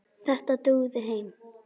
Þetta dugði þeim.